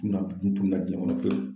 Tununna , n tununna jɛn kɔnɔ pewu.